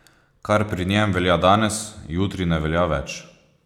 Kar pri njem velja danes, jutri ne velja več.